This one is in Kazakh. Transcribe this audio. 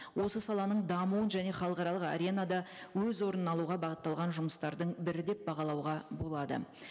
осы саланың дамуын және халықаралық аренада өз орнын алуға бағытталған жұмыстардың бірі деп бағалауға болады